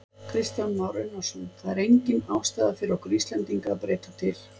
Kristján Már Unnarsson: Það er engin ástæða fyrir okkur Íslendinga að breyta til?